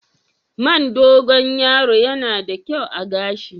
Man Dogon yaro yana da kyau a gashi?